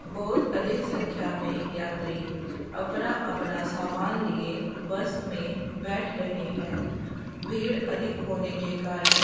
बहुत अधिक संख्या में यात्री अपना अपना सामान लिए बस में बैठ रहे हैं भीड़ अधिक होने के कारण --